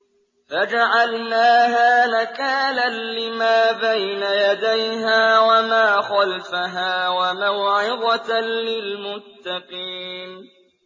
فَجَعَلْنَاهَا نَكَالًا لِّمَا بَيْنَ يَدَيْهَا وَمَا خَلْفَهَا وَمَوْعِظَةً لِّلْمُتَّقِينَ